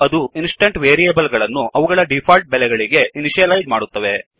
ಅದು instance variable ಗಳನ್ನು ಅವುಗಳ ಡಿಫಾಲ್ಟ್ ಬೆಲೆಗಳಿಗೆ ಇನಿಷಿಯಲೈಜ್ ಮಾಡುತ್ತದೆ